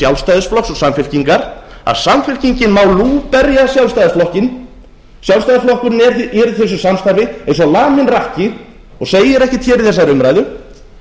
og samfylkingar að samfylkingin má lúberja sjálfstæðisflokkinn sjálfstæðisflokkurinn er í þessu samstarfi eins og laminn rakki og segir ekkert hér í þessari umræðu